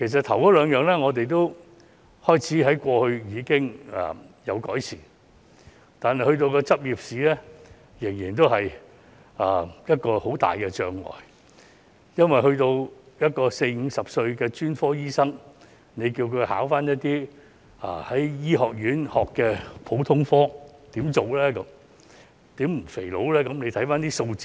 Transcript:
前兩者已有所改善，但執業試仍然是很大的障礙，因為要求四五十歲的專科醫生考一些在醫學院學的普通科知識，叫他怎麼辦呢？